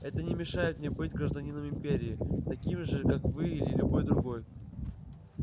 это не мешает мне быть гражданином империи таким же как вы или любой другой